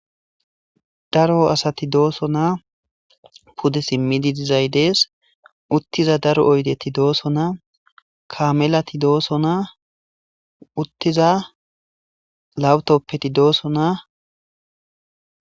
Daro asat dosona,pude simid dizay Des,utidayt utiza daro oydet detes, kamelat dosona, utiza laptopet dosona.